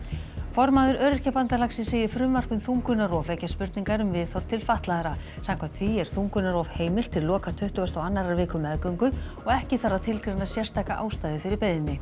formaður Öryrkjabandalagsins segir frumvarp um þungunarrof vekja spurningar um viðhorf til fatlaðra samkvæmt því er þungunarrof heimilt til loka tuttugustu og annarrar viku meðgöngu og ekki þarf að tilgreina sérstaka ástæðu fyrir beiðni